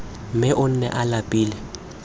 mme o nne o labile